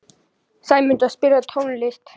Sæmunda, spilaðu tónlist.